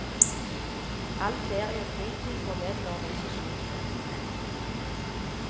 All ferie og fritid går med til organisasjonsvirksomhet.